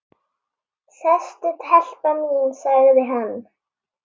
Sestu telpa mín, sagði hann.